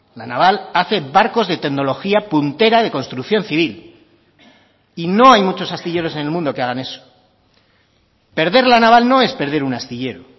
la naval hace barcos de tecnología puntera de construcción civil y no hay muchos astilleros en el mundo que hagan eso perder la naval no es perder un astillero